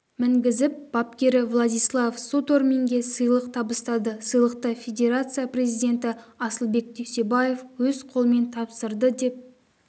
мінгізіп бапкері владислав суторминге сыйлық табыстады сыйлықты федерация президенті асылбек дүйсебаев өз қолымен тапсырды деп